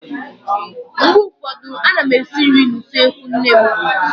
Mgbe ụfọdụ a na m esi nri n'usekwu nne m.